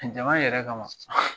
Jama yɛrɛ kama.